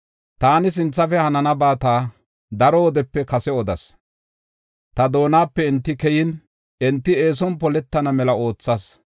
Taani sinthafe hananabata daro wodepe kase odas. ta doonape enti keyin, enti eeson poletana mela oothas.